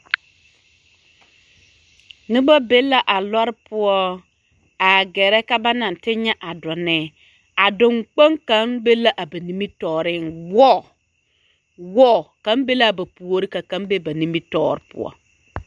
Noba be la a lɔre poɔ a gɛrɛ ka ba na te nyɛ a donne, a donkpoŋ kaŋ be la a ba nimitɔɔreŋ, wɔɔ, wɔɔ, kaŋ be la a ba puori ka kaŋ be a ba nimitɔɔre poɔ.